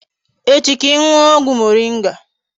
Echi ka I nuo ogwu moringa